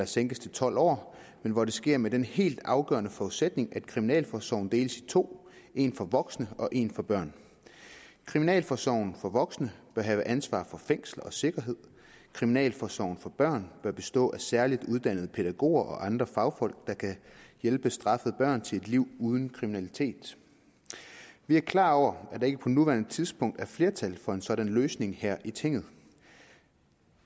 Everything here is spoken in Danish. sænkes til tolv år men hvor det sker med den helt afgørende forudsætning at kriminalforsorgen deles i to en for voksne og en for børn kriminalforsorgen for voksne bør have ansvaret for fængsler og sikkerhed og kriminalforsorgen for børn bør bestå af særligt uddannede pædagoger og andre fagfolk der kan hjælpe straffede børn til et liv uden kriminalitet vi er klar over at der ikke på nuværende tidspunkt er flertal for en sådan løsning her i tinget